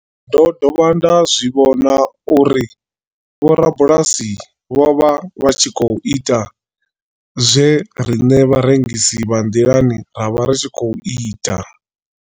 Ndo dovha nda zwi vhona uri vhorabulasi vho vha vha tshi khou ita zwe riṋe vharengisi vha nḓilani ra vha ri tshi khou ita.